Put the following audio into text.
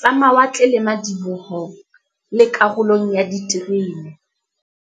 tsa mawatle le madiboho, le karolong ya diterene.